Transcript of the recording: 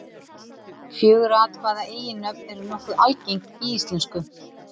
Fjögurra atkvæða eiginnöfn eru nokkuð algeng í íslensku.